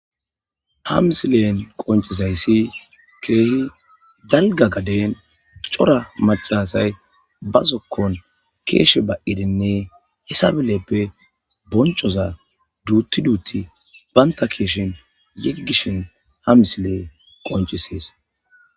Ha misilen qonccizayssi keehi dalgga gaden cora macca asay ba zokkon keeshe ba'idinne hessa bollappe bonccoza duutti duutti banta keeshen yigishin ha misiley qonccises.